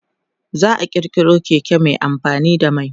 za'a kirkiro Keke Mai amfani da mai